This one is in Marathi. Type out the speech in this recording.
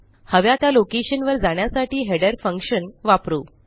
हव्या त्या लोकेशनवर जाण्यासाठी हेडर फंक्शन वापरू